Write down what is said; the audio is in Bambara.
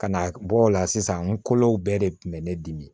Ka na bɔ o la sisan n kolow bɛɛ de kun bɛ ne dimi